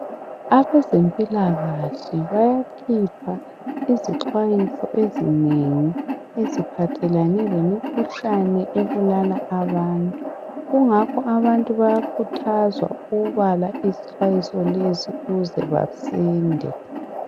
Abezempilakahle bayakhipha izixwayiso ezinengi eziphathelane lemikhuhlane ebulala abantu. Kungakho abantu bayakhuthazwa ukubala izixwayiso lezo ukuze basinde